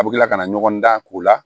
A bɛ tila kana ɲɔgɔn dan k'o la